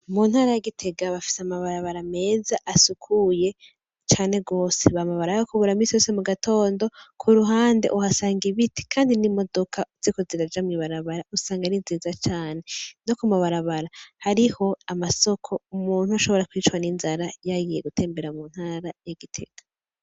Mu ntara ya Gitega bafise amabarabara meza asukuye cane gose bama barayakubura misi yose mu gatondo, kuruhande uhasanga ibiti kandi n'imodoka ziriko ziraja mw'ibarabara usanga ari nziza cane, no ku mabarabara hariho amasoko umuntu ntashobora kwicwa n'inzara yagiye gutembera mu ntara y'i Gitega.